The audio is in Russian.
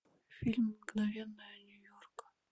фильм мгновения нью йорка